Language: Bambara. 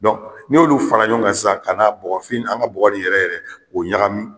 ni y'olu fara ɲɔgɔn kan sisan ka na bɔgɔ fin , an ka bɔgɔ ni yɛrɛ yɛrɛ k'o ɲagami